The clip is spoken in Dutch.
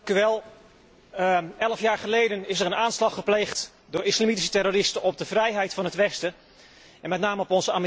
Elf jaar geleden is er een aanslag gepleegd door islamitische terroristen op de vrijheid van het westen, en met name op onze Amerikaanse collega's.